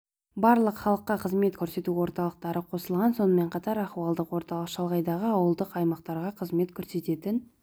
барлық халыққа қызмет көрсету орталықтары қосылған сонымен қатар ахуалдық орталық шалғайдағы ауылдық аймақтарға қызмет көрсететін